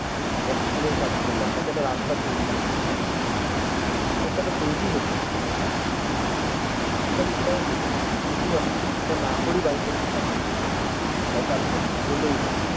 একশ দিনের কাজ করলাম তাতে একটা রাস্তা তৈরি হলো তো তো কিছু একটা তো তৈরি হলো কিন্তু আমি সেটাও কিন্তু আমি যদি সেটা না করেই বাড়িতে বসে টাকা পেয়ে যাই তাহলে তো ultimate কিছু হলোই না